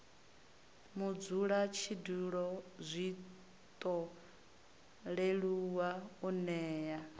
mudzulatshidulo zwiṱo leluwa u nea